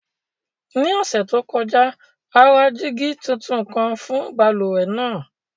Ní ọṣẹ to kọja, a ra dígi tuntun kan fún bálúwẹ̀ naa.